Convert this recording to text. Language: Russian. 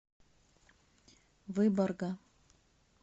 выборга